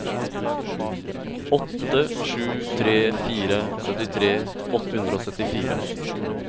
åtte sju tre fire syttitre åtte hundre og syttifire